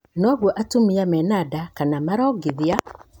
Noguo atumia mena nda kana maraongithia.